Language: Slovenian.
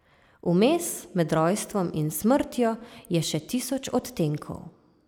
Vmes, med rojstvom in smrtjo, je še tisoč odtenkov.